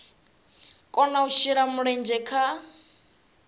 kona u shela mulenzhe kha